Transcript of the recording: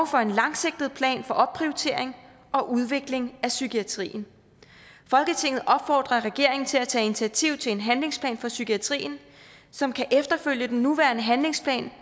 for en langsigtet plan for opprioritering og udvikling af psykiatrien folketinget opfordrer regeringen til at tage initiativ til en handlingsplan for psykiatrien som kan efterfølge den nuværende handlingsplan